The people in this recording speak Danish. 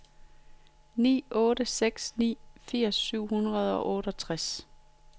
ni otte seks ni firs syv hundrede og otteogtres